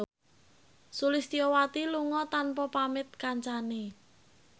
Sulistyowati lunga tanpa pamit kancane